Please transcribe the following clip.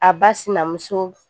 A ba sinamuso